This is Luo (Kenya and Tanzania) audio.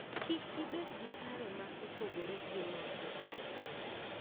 Kik ibed gi paro ma opogore gi mar jochadi.